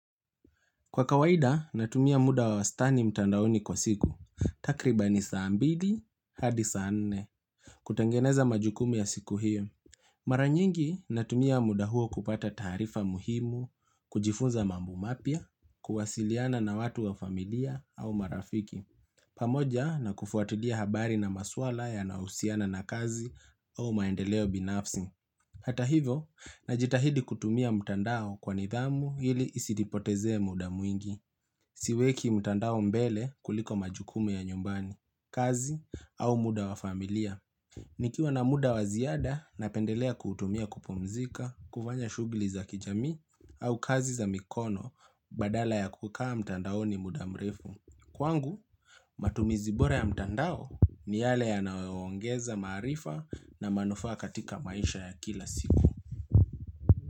Kwa kawaida, natumia muda wa wastani mtandaoni kwa siku. Takribani saa mbili, hadi saa nne. Kutengeneza majukumu ya siku hiyo. Maranyingi natumia muda huo kupata taarifa muhimu, kujifunza mambo mapya, kuwasiliana na watu wa familia au marafiki. Pamoja na kufuatilia habari na maswala yanayohusiana na kazi au maendeleo binafsi. Hata hivo, najitahidi kutumia mtandao kwa nidhamu ili isinipotezee muda mwingi. Siweki mtandao mbele kuliko majukumu ya nyumbani, kazi au muda wa familia. Nikiwa na muda wa ziada napendelea kuutumia kupumzika, kufanya shuguli za kijamii au kazi za mikono badala ya kukaa mtandao ni muda mrefu. Kwangu, matumizi bora ya mtandao ni yale yanayoongeza maarifa na manufaa katika maisha ya kila siku.